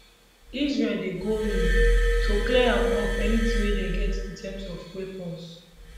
israel dey go in to clear am up anytin dem get in terms of weapons